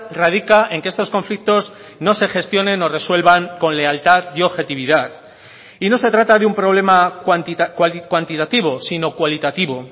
radica en que estos conflictos no se gestionen o resuelvan con lealtad y objetividad y no se trata de un problema cuantitativo sino cualitativo